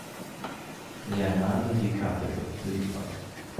леонардо ди каприо липа